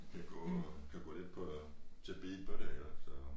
Kan gå kan gå lidt på til beat på det eller så